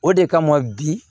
O de kama bi